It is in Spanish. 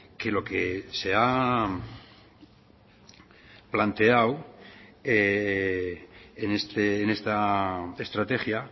que lo que se ha planteado en esta estrategia